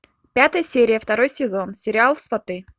пятая серия второй сезон сериал сваты